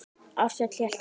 Ársæll hélt áfram.